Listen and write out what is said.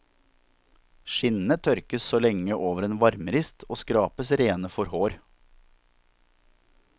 Skinnene tørkes så lenge over en varmerist og skrapes rene for hår.